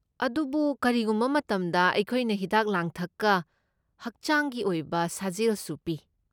ꯑꯗꯨꯕꯨ ꯀꯔꯤꯒꯨꯝꯕ ꯃꯇꯝꯗ ꯑꯩꯈꯣꯏꯅ ꯍꯤꯗꯥꯛ ꯂꯥꯡꯊꯛꯀ ꯍꯛꯆꯥꯡꯒꯤ ꯑꯣꯏꯕ ꯁꯥꯖꯦꯜꯁꯨ ꯄꯤ꯫